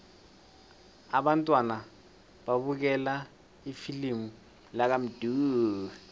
abantwana babukele ifilimu lakamdu